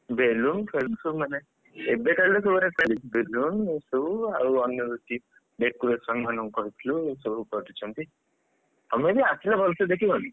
balloon ଫେଲୁନ୍‌ ସବୁ ମାନେ ଏବେ କାଳରେ ସେଗୁଡା balloon ଏସବୁ ଆଉ ଅନ୍ୟ କିଛି decoration କହିଥିଲୁ ସବୁ କରି ଦେଇଛନ୍ତି ତମେ ବି ଆସିଲେ ଭଲସେ ଦେଖିବନି,